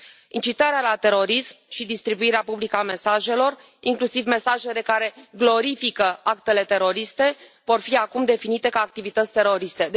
Incitarea la terorism și distribuirea publică a mesajelor, inclusiv mesajele care glorifică actele teroriste, vor fi acum definite ca activități teroriste.